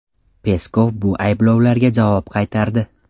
Peskov bu ayblovlarga javob qaytardi.